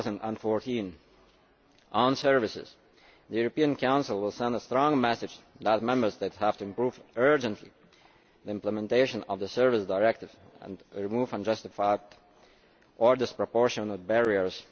2014. Concerning services, the European Council will send a strong message that Member States urgently have to improve the implementation of the Services Directive and remove unjustified or disproportionate barriers.